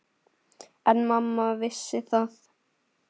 En mamma vissi það.